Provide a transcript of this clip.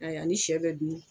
Ayi a ni sɛ bɛ dun